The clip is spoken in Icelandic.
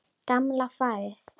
Gamla farið.